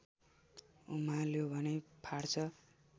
उमाल्यो भने फाट्छ